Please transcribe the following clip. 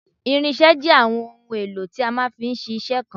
irinṣẹ́ jẹ́ àwọn ohun èlò tí a máa fi ń ṣiṣẹ́ kan